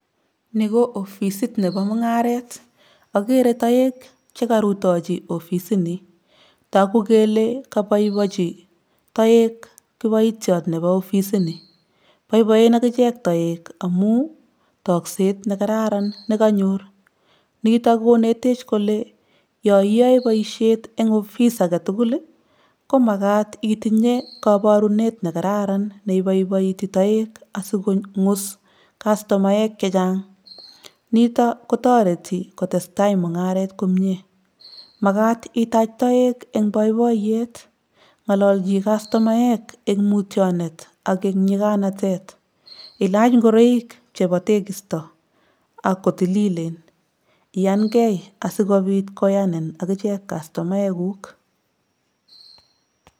Ni ko ofisit nebo mungaret, ageere toek chekaruitochi ofisini, toku kele kabaibaincin toek kibaitiot nebo ofisini. Boiboien akiche toek amun tokset nekararan nekanyor, nitok konetech kole yo iyoe boiseit age tugul eng ofis komakat itinyei kabarunet nekararan neiboiboiti toek asikonguus kastomaek chechang. nitok kotoreti kotestai mungaret komnye. Makat itaach toek eng boiboiyet, ngalalchi kastomaek eng mutyonet ak eng nyikanatet, ilach ingoraik chebo tekisto ako tililen, iyankei asikopit koyanin akiche kastomaekuk.